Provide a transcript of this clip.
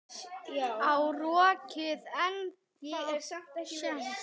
Á rokkið ennþá séns?